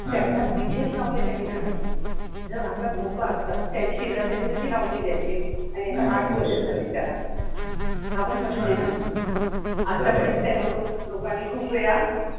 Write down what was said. त्याच्या तिथेच लावलेत त्यांनी झाडं. जर आता धोका असता तर शेजारच्यांनी कशे लावून दिले असते आणि आता आठ वर्ष झाली त्याला हा पण प्रश्न आहे ना आतापर्यंत त्या लोक लोकांनी खूप वेळा